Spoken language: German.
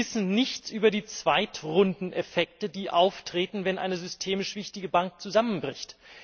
Wir wissen nichts über die Zweitrundeneffekte, die auftreten, wenn eine systemisch wichtige Bank zusammenbricht.